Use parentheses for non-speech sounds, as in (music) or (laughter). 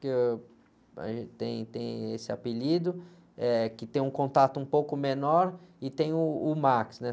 que eu, aí, tem, tem esse apelido, eh, que tem um contato um pouco menor e tem uh, o, (unintelligible) né?